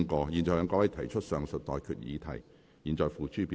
我現在向各位提出上述待決議題，付諸表決。